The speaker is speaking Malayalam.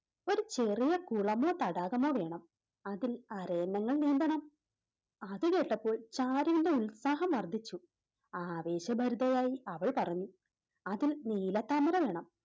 ഒര് ചെറിയ കുളമോ തടാകമോ വേണം അതിൽ അരയന്നങ്ങൾ നീന്തണം അത് കേട്ടപ്പോൾ ചാരുവിൻറെ ഉത്സാഹം വർദ്ധിച്ചു ആവേശഭരിതയായി അവൾ പറഞ്ഞു അതിൽ നീലത്താമര വേണം